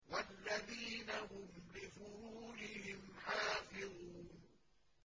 وَالَّذِينَ هُمْ لِفُرُوجِهِمْ حَافِظُونَ